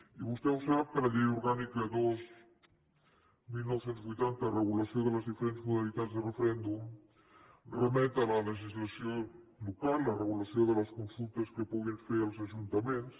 i vostè ho sap que la llei orgànica dos dinou vuitanta de regulació de les diferents modalitats de referèndum remet a la legislació local de la regulació de les consultes que puguin fer els ajuntaments